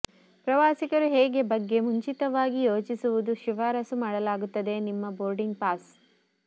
ಪ್ರವಾಸಿಗರು ಹೇಗೆ ಬಗ್ಗೆ ಮುಂಚಿತವಾಗಿ ಯೋಚಿಸುವುದು ಶಿಫಾರಸು ಮಾಡಲಾಗುತ್ತದೆ ನಿಮ್ಮ ಬೋರ್ಡಿಂಗ್ ಪಾಸ್